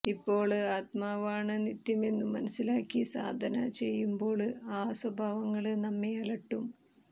ഇപ്പോള് ആത്മാവാണ് നിത്യമെന്നു മനസ്സിലാക്കി സാധന ചെയ്യുമ്പോള് ആ സ്വഭാവങ്ങള് നമ്മെ അലട്ടും